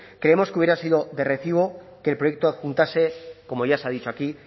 creemos que hubiera sido de recibo que el proyecto adjuntase como ya se ha dicho aquí